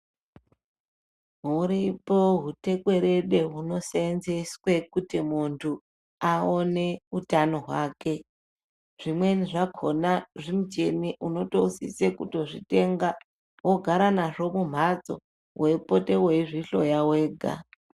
Huripo hutekwerede hunosenzeswe kuti muntu aone utano hwake zvimweni zvakona zvimuchini unotosise kutozvitenga wogara nazvo kumhatso weipote weizvihloya wega